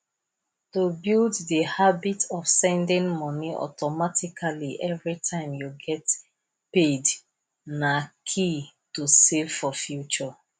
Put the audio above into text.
to build the habit of sending money automatically every time you get paid na key to save for future